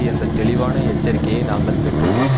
என்ற தெளிவான எச்சரிக்கையை நாங்கள் பெற்றுள்ளோம்